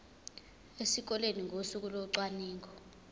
esikoleni ngosuku locwaningo